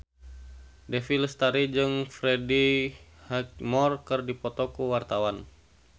Dewi Lestari jeung Freddie Highmore keur dipoto ku wartawan